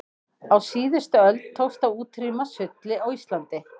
á síðustu öld tókst að útrýma sulli á íslandi